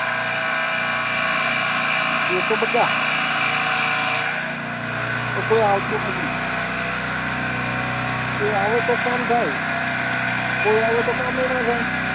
કે તો બધા કોઈ આવતું નથી, કોઈ આવે તો કામ થાય કોઈ આવે તો કામેય ના થાય